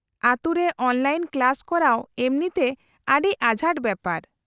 -ᱟᱹᱛᱩ ᱨᱮ online class ᱠᱚᱨᱟᱣ ᱮᱢᱱᱤᱛᱮ ᱟᱹᱰᱤ ᱟᱸᱡᱷᱟᱴ ᱵᱮᱯᱟᱨ ᱾